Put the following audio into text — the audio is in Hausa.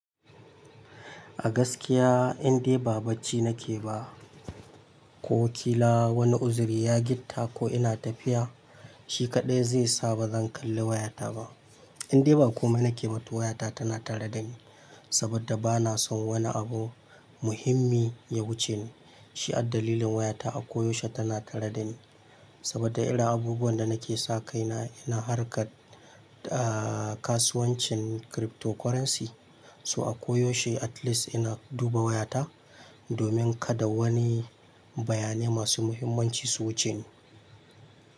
A gaskiya indai ba bacci nake ba, ko kila wani uzuri ya gitta ko ina tafiya, shi kaɗai zai sa ba zan kalli wayata ba. Indai ba komai nake ba to wayata tana tare dani saboda bana son wani abu muhimmi ya wuce ni. Shi addalilin wayata a koyaushe tana tare dani saboda irin abubuwan da nake sa kaina ina harkar, da kasuwancin cryptocurrency. So a koyaushe at least ina duba wayata domin kada wani bayanai masu muhimmanci su wuce ni.